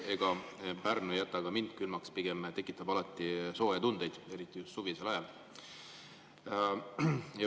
Ega Pärnu ei jäta ka mind külmaks, pigem tekitab alati sooje tundeid, eriti just suvisel ajal.